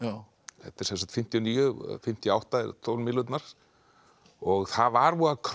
þetta er fimmtíu og níu fimmtíu og átta tólf mílurnar og það var voða